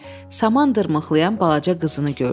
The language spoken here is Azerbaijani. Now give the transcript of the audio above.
saman dırmıqlayan balaca qızını gördü.